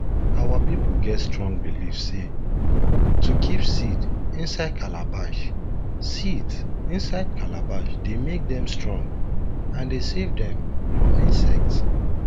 our people get strong believe sey to kip seeds inside calabash seeds inside calabash dey make dem strong and dey savedem from insects